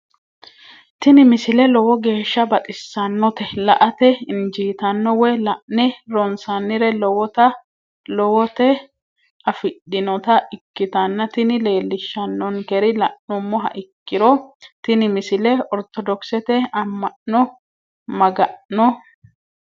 tini misile lowo geeshsha baxissannote la"ate injiitanno woy la'ne ronsannire lowote afidhinota ikkitanna tini leellishshannonkeri la'nummoha ikkiro tini misile ortodokisete amma'no maga'n